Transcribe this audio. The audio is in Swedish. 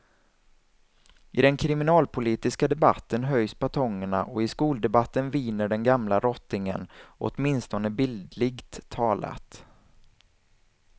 I den kriminalpolitiska debatten höjs batongerna och i skoldebatten viner den gamla rottingen, åtminstone bildligt talat.